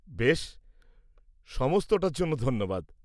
বেশ, সমস্তটার জন্য ধন্যবাদ।